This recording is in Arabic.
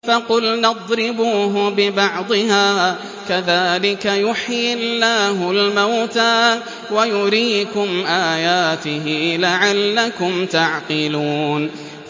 فَقُلْنَا اضْرِبُوهُ بِبَعْضِهَا ۚ كَذَٰلِكَ يُحْيِي اللَّهُ الْمَوْتَىٰ وَيُرِيكُمْ آيَاتِهِ لَعَلَّكُمْ تَعْقِلُونَ